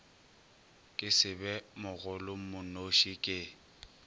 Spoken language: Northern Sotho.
ke se be mogolomonoši ke